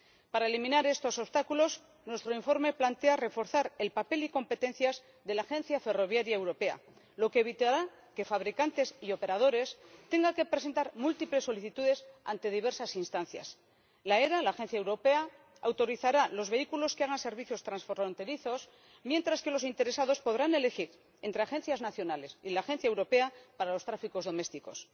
Para eliminar estos obstáculos nuestro informe plantea reforzar el papel y competencias de la Agencia Ferroviaria Europea, lo que evitará que fabricantes y operadores tengan que presentar múltiples solicitudes ante diversas instancias. La AFE —la agencia europea— autorizará los vehículos que hagan servicios transfronterizos, mientras que los interesados podrán elegir entre agencias nacionales y la agencia europea para los tráficos domésticos.